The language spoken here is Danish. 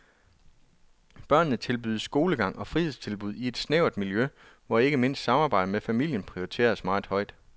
Børnene tilbydes skolegang og fritidstilbud i et lille snævert miljø, hvor ikke mindst samarbejdet med familien prioriteres meget højt.